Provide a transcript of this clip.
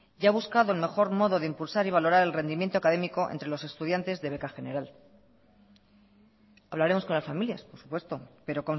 y ha buscado el mejor modo de impulsar y valorar el rendimiento académico entre los estudiantes de beca general hablaremos con las familias por supuesto pero